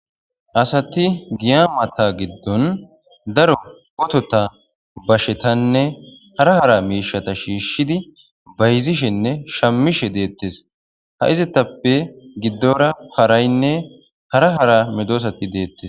Asati giya mata giddon daro otota, bashetanne hara hara miishshata shiishidi bayzeshenne shammishe deettes. Ha izetappe giddora haraynne hara hara medosati deettes.